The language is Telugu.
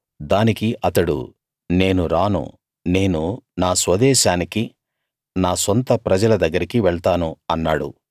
దానికి అతడు నేను రాను నేను నా స్వదేశానికీ నా సొంత ప్రజల దగ్గరకీ వెళ్తాను అన్నాడు